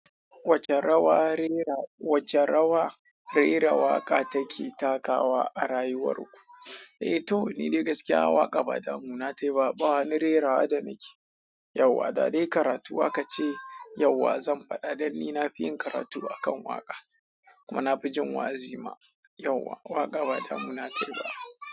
Wacce rawa rera, wacce rawa rera waƙa take takawa a rayuwar ku? Eh, to ni dai gaskiya waka ba damuna tayi ba, ba wani rerawa da nake, yauwa. Da dai karatu akace yauwa zan faɗa dan ni na fi yin karatu akan waƙa. Kuma na fi jin wa'azima yauwa. Waƙa ba damuna tayi ba.